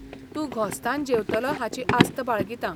तूं घोस्तान जेवतलो हाची आस्त बाळगितां.